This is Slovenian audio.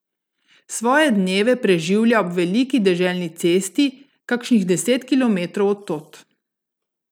Svoje dneve preživlja ob veliki deželni cesti, kakšnih deset kilometrov od tod.